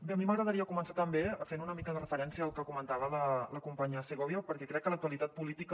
bé a mi m’agradaria començar també fent una mica de referència al que comentava la companya segovia perquè crec que l’actualitat política